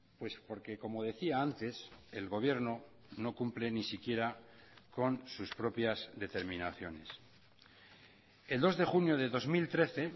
pues porque como decía antes el gobierno no cumple ni siquiera con sus propias determinaciones el dos de junio de dos mil trece